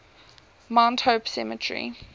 mount hope cemetery